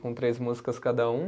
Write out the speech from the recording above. Com três músicas cada um.